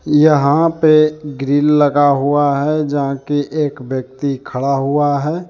यहां पे ग्रिल लगा हुआ है यहां कि एक व्यक्ति खड़ा हुआ है।